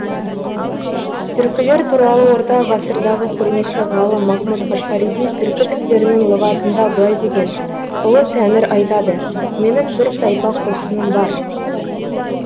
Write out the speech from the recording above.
түркілер туралы орта ғасырдағы көрнекті ғалым махмұд қашқаридың түркі тілдерінің лұғатында былай деген ұлы тәңір айтады менің бір тайпа қосыным бар